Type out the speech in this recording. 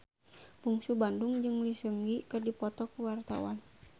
Bungsu Bandung jeung Lee Seung Gi keur dipoto ku wartawan